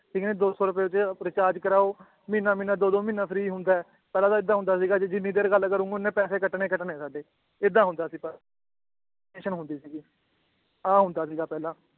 ਠੀਕ ਆ ਨੀ ਦੋ ਸੌ ਰੁਪਏ ਚ ਰੀਚਾਰਜ ਕਰਾਓ ਮਹੀਨਾ ਮਹੀਨਾ ਦੋ ਦੋ ਮਹੀਨਾ free ਹੁੰਦਾ ਏ ਪਹਿਲਾਂ ਤਾਂ ਏਦਾਂ ਹੁੰਦਾ ਸੀਗਾ ਜੀ ਜਿੰਨੀ ਦੇਰ ਗੱਲ ਕਰੂਂਗੇ ਓਹਨੇ ਪੈਸੇ ਕੱਟਣੇ ਕੱਟਣੇ ਏ ਸਾਡੇ ਏਦਾਂ ਹੁੰਦਾ ਸੀਗਾ ਟੈਨਸ਼ਨ ਹੁੰਦੀ ਸੀਗੀ ਆਹ ਹੁੰਦਾ ਸੀਗਾ ਪਹਿਲਾਂ